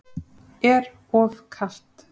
Er of kalt.